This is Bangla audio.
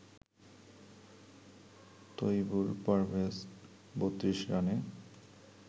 তৈবুর পারভেজ ৩২ রানে